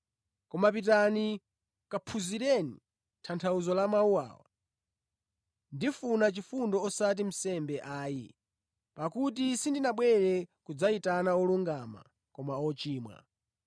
Koma pitani kaphunzireni tanthauzo la mawu awa: ‘Ndimafuna chifundo osati nsembe ayi.’ Pakuti sindinabwere kudzayitana olungama koma ochimwa.”